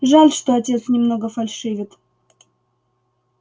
жаль что отец немного фальшивит